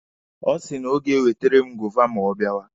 Ọ sị na o ga-ewetere m goova ma ọ bịawa.